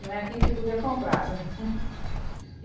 Não é aqui que tudo é comprado.